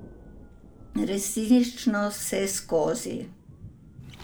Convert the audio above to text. Resnično vseskozi.